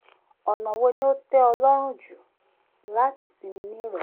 ọ̀nà wo ni o tẹ́ ọ lọ́rùn jù láti sinmi ní ìrọ̀lẹ́?